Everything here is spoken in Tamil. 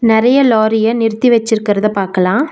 நெறைய லாரிய நிறுத்தி வச்சிருக்கிறத பாக்கலா.